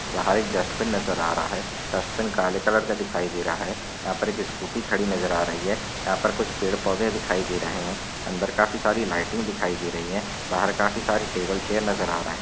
बाहर एक डस्ट्बिन नजर आ रहा है डस्ट्बिन काले कलर का दिखाई दे रहा है यहा पर एक स्कूटी खड़ी नजर आ रही है यहा पर कुछ पेड़ पौधे दिखाई दे रहे है अंदर काफी सारी लाइटिंग दिखाई दे रही है बाहर काफी सारे टेबल चेयर नजर आ रहे।